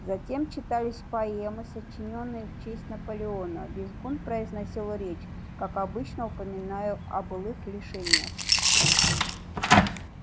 затем читались поэмы сочинённые в честь наполеона визгун произносил речь как обычно упоминая о былых лишениях